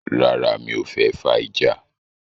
Rárá, mi o fẹ́ fà ìjà?